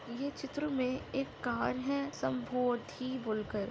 ये चित्र मे एक कार है संबोधि बोलकर।